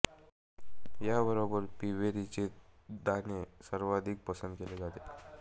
या बरोबर पीबेरी चे दाने सर्वाधिक पसंद केले जाते